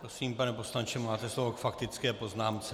Prosím, pane poslanče, máte slovo k faktické poznámce.